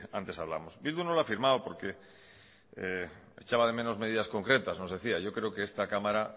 antes hablábamos bildu no lo ha firmado porque echaba de menos medidas concretas nos decía yo creo que esta cámara